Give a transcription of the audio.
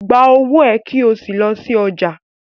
Gba owó è kí o sí lọ sí ọjà.